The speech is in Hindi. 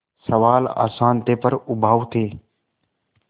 सवाल आसान थे पर उबाऊ थे